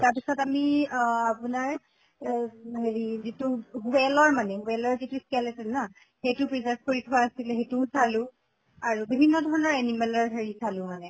তাৰ পিছত আমি অহ আপোনাৰ এহ হেৰি যিটো whale ৰ মানে whale ৰ যিটো skeleton না, সেইটো preserve কৰি থোৱা আছিলে সেইটোও চালো। আৰু বিভিন্ন ধৰণৰ animal ৰ হেৰি চালো মানে